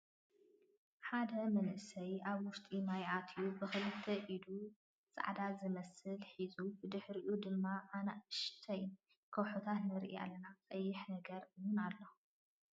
ሓደ መንእሰይ ኣብ ውሽጢ ማይ ኣትዩ ብክልተ ኢዱ ፃዕዳ ዝመስል ሒዙን ብድሕሪኡ ድማ ኣናእሽተይ ከውሕታት ንርኢ ኣለና። ቀይሕ ነገር እውን ኣሎ።